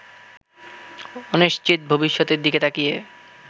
অনিশ্চিত ভবিষ্যতের দিকে তাকিয়ে